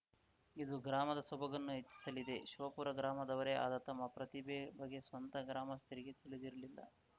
ಇದು ಗ್ರಾಮದ ಸೊಬಗನ್ನು ಹೆಚ್ಚಿಸಲಿದೆ ಶಿವಪುರ ಗ್ರಾಮದವರೇ ಆದ ತಮ್ಮ ಪ್ರತಿಭೆ ಬಗ್ಗೆ ಸ್ವತಃ ಗ್ರಾಮಸ್ಥರಿಗೇ ತಿಳಿದಿರಲಿಲ್ಲ